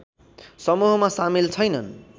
समूहमा सामेल छैनन्